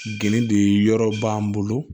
Geni de yɔrɔ b'an bolo